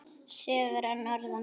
Sögur að norðan.